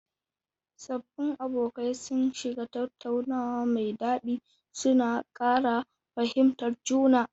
Sabbin abokai sun shiga tattaunawa mai dadi, suna kara fahimtar juna.